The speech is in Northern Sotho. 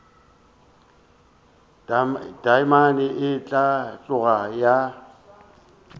taamane a tloga a ya